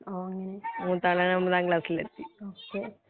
മൂത്തയാള് ഒമ്പതാംക്ലാസ്സിൽ എത്തി